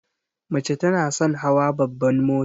Mace tana son hawa babban mota.